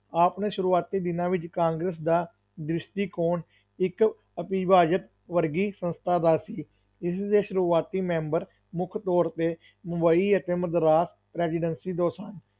ਆਪਣੇ ਸ਼ੁਰੂਆਤੀ ਦਿਨਾਂ ਵਿੱਚ ਕਾਂਗਰਸ ਦਾ ਦ੍ਰਿਸ਼ਟੀਕੋਣ ਇੱਕ ਅਭਿ ਭਾਜਤ ਵਰਗੀ ਸੰਸਥਾ ਦਾ ਸੀ, ਇਸ ਦੇ ਸ਼ੁਰੂਆਤੀ ਮੈਂਬਰ ਮੁੱਖ ਤੌਰ 'ਤੇ ਮੁੰਬਈ ਅਤੇ ਮਦਰਾਸ presidency ਤੋਂ ਸਨ।